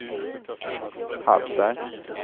Hallsberg